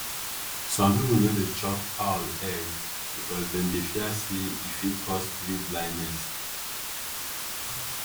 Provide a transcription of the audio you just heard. some people no dey chop owl egg because dem dey fear say e fit cause spirit blindness.